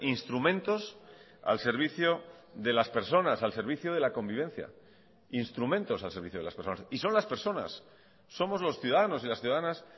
instrumentos al servicio de las personas al servicio de la convivencia instrumentos al servicio de las personas y son las personas somos los ciudadanos y las ciudadanas